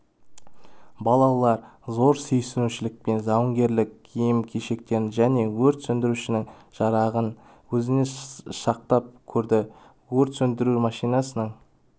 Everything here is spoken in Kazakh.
балалар зор сүйсінушілікпен жауынгерлік киім-кешектерін және өрт сөндірушінің жарағын өзіне шақтап көрді өрт сөндіру машинасының